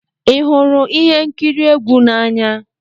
Ị hụrụ ihe nkiri egwu n'anya?